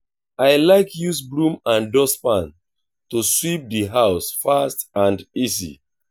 i like use broom and dustpan to sweep di house fast and easy.